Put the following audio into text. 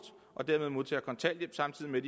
og dermed modtager kontanthjælp samtidig med